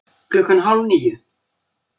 Klukkan hálf níu